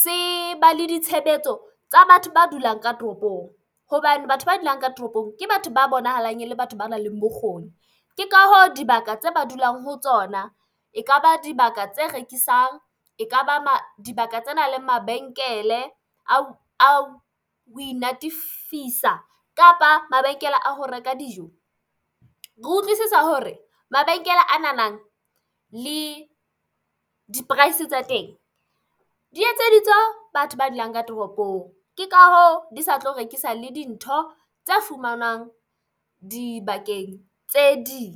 se ba le ditshebetso tsa batho ba dulang ka toropong hobane batho ba dulang ka toropong ke batho ba bonahalang e le batho ba nang le bokgoni. Ke ka hoo dibaka tse ba dulang ho tsona e kaba dibaka tse rekisang, ekaba dibaka tsena le mabenkele a ho inatefisa kapa mabenkele a ho reka dijo. Ke utlwisisa hore mabenkele a na nang le di-price tsa teng di etseditswe batho ba dulang ka toropong, ke ka hoo di sa tlo rekisa le dintho tse fumanwang dibakeng tse ding.